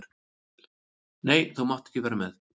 Nei, þú mátt ekki vera með.